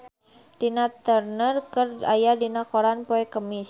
Tina Turner aya dina koran poe Kemis